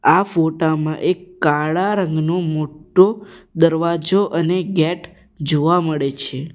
આ ફોટા માં એક કાળા રંગનો મોટો દરવાજો અને ગેટ જોવા મળે છે.